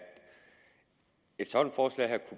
et sådant forslag her